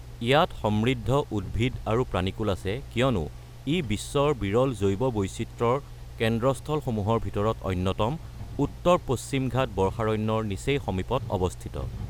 ইয়াত সমৃদ্ধ উদ্ভিদ আৰু প্ৰাণীকূল আছে কিয়নো ই বিশ্বৰ বিৰল জৈৱ বৈচিত্ৰ্যৰ কেন্দ্ৰস্থলসমূহৰ ভিতৰত অন্যতম, উত্তৰ পশ্চিম ঘাট বৰ্ষাৰণ্যৰ নিচেই সমীপত অৱস্থিত।